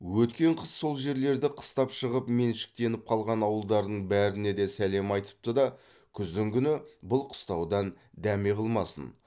өткен қыс сол жерлерді қыстап шығып меншіктеніп қалған ауылдардың бәріне де сәлем айтыпты да күздігүні бұл қыстаудан дәме қылмасын